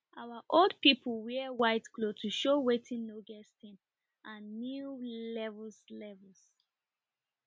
our old people wear white cloth to show wetin no get stain and new levels levels